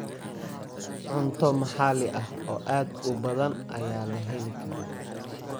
Cunto maxalli ah oo aad u badan ayaa la heli karaa.